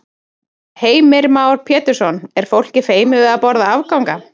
Heimir Már Pétursson: Er fólk feimið við að borða afganga?